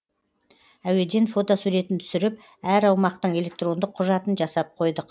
әуеден фотосуретін түсіріп әр аумақтың электрондық құжатын жасап қойдық